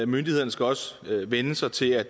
myndighederne skal også vænne sig til at